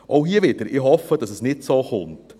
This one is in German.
Auch hier wieder: Ich hoffe, dass es nicht so kommt.